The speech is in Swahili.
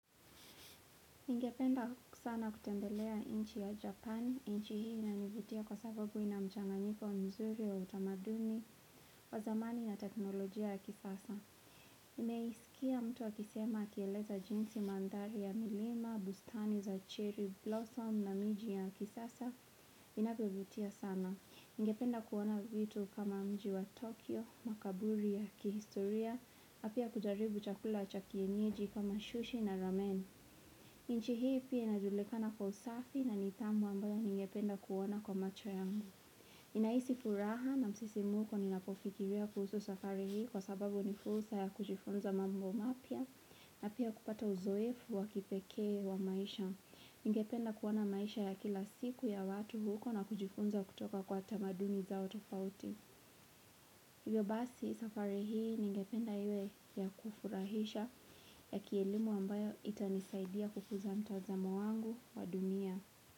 Ningependa sana kutembelea inchi ya Japani, inchi hii na nivutia kwa sababu ina mchanganyiko mzuri wa utamaduni wa zamani ya teknolojia ya kisasa. Nimeisikia mtu wa kisema kieleza jinsi mandhali ya milima, bustani za cherry blossom na miji ya kisasa, inavyo vutia sana. Ningependa kuona vitu kama mji wa Tokyo, makaburi ya kihistoria, apia kujaribu chakula cha kienyeji kama shushi na ramen. Nchi hii pia inajulikana kwa usafi na nidhamu ambayo nyingependa kuona kwa macho yangu. Nahisi furaha na msisimko ninapofikilia kuhusu safari hii kwa sababu nifursa ya kujifunza mambo mapya na pia kupata uzoefu wa kipekee wa maisha. Ningependa kuona maisha ya kila siku ya watu huko na kujifunza kutoka kwa tamadumi za otofauti. Hivyo basi safari hii ningependa iwe ya kufurahisha ya kielimu ambayo itanisaidia kufuza mtazamo wangu wa dunia.